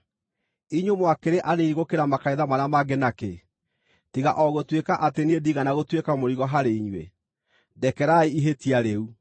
Inyuĩ mwakĩrĩ anini gũkĩra makanitha marĩa mangĩ nakĩ, tiga o gũtuĩka atĩ niĩ ndiigana gũtuĩka mũrigo harĩ inyuĩ? Ndekerai ihĩtia rĩu!